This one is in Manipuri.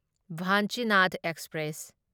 ꯚꯥꯟꯆꯤꯅꯥꯗ ꯑꯦꯛꯁꯄ꯭ꯔꯦꯁ